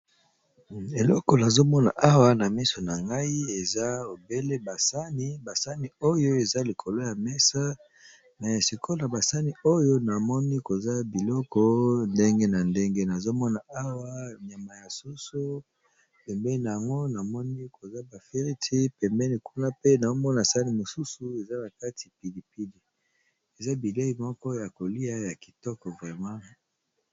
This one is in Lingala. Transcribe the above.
Eloko nazo mona awa namiso nangai eza obele basaani ba saani oyo eza likolo ya mesa mais sikoyo na basaani oyo eza nakati eza na banyama ya soso pembeni namoni ba fritte pembeni kuna pe namoni saani eza nakati pilipli